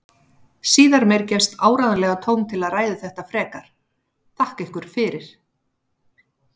Síðar meir gefst áreiðanlega tóm til að ræða þetta frekar, þakka ykkur fyrir.